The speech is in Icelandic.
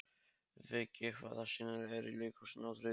Viggi, hvaða sýningar eru í leikhúsinu á þriðjudaginn?